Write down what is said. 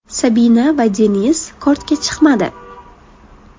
Sabina va Deniz kortga chiqmadi.